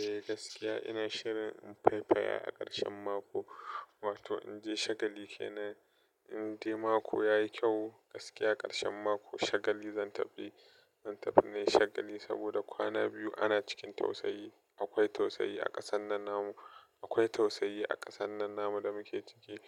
Eh gaskiya ina shirin fai faya a ƙarshen mako. Wato in je shagali kenan, in dai mako yayi kyau gaskiya ƙarshen mako shagali zan tafi. Zan tafi nai shagali saboda kwana biyu ana cikin tausayi. Akwai tausayi a ƙasan nan namu, akwai tausayi a ƙasan nan namu da muke ciki.